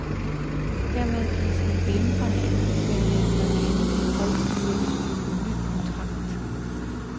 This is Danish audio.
Hermed gives en glimrende anbefaling, når de endelige tal skal sættes på den ny kontrakt.